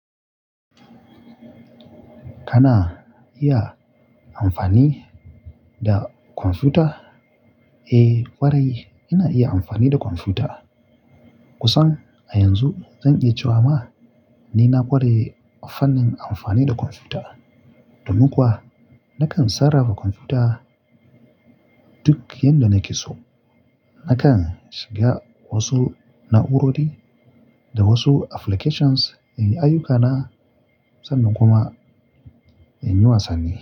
Kana iya amfani da kwamfuta? Eh ƙwarai ina iya amfani da kwamfuta. Kusan a yanzu zan iya cewa ma ni na ƙware fannin amfani da kwamfuta. Domin kuwa nakan sarafa kwamfuta duk yanda nake so. Nakan shiga wasu na'urori da wasu applications in yi ayyukana sannan kuma in yi wasanni.